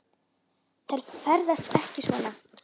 Þær ferðast ekki svona.